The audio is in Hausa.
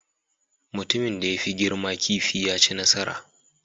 Mutumin da ya fi girma kifi ya ci nasara